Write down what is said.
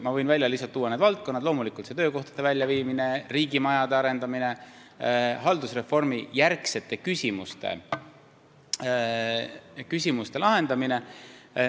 Ma võin välja tuua need valdkonnad: loomulikult töökohtade väljaviimine, riigimajade arendamine, haldusreformijärgsete küsimuste lahendamine.